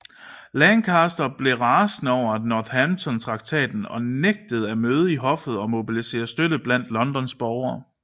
Lancaster blev rasende over Northampton Traktaten og nægtede at møde i hoffet og mobiliserede støtte blandt Londons borgere